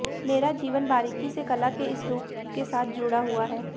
मेरा जीवन बारीकी से कला के इस रूप के साथ जुड़ा हुआ है